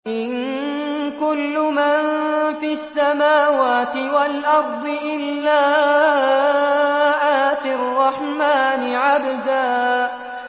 إِن كُلُّ مَن فِي السَّمَاوَاتِ وَالْأَرْضِ إِلَّا آتِي الرَّحْمَٰنِ عَبْدًا